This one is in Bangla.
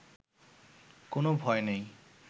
কোনো ভয় নেই